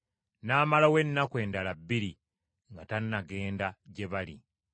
n’amalawo ennaku endala bbiri nga tanagenda gye bali.